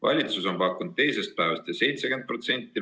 Valitsus on pakkunud teisest päevast 70%.